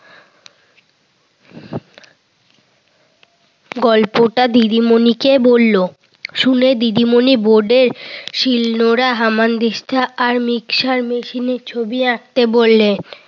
গল্পটা দিদিমনিকে বলল। শুনে দিদিমণি বোর্ডে শিল নোড়া, হামানদিস্তা আর মিকশ্চার মেশিনের ছবি আঁকতে বললেন।